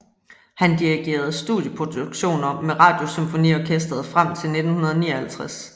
Han dirigerede studieproduktioner med Radiosymfoniorkestret frem til 1959